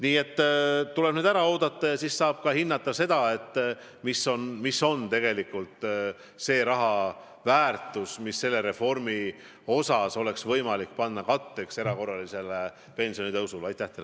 Nii et see tuleb ära oodata ja siis saab ka hinnata, kui suur on tegelikult summa, mille me seda reformi ellu viies saame eraldada erakorralise pensionitõusu katteks.